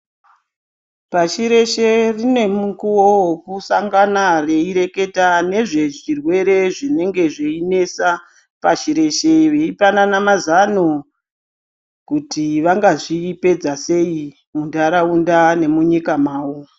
Pashi reshe rine mukuwo wokusangana reireketa nezve zvirwere zvinenge zveinesa pasi reshe veipanana mazano kuti vanga zvipedza sei mundaraunda nemunyika mavo